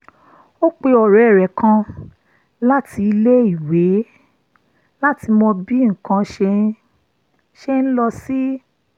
ó pe ọ̀rẹ́ rẹ̀ kan láti ilé-èwé láti mọ bí nǹkan ṣe ń ṣe ń lọ sí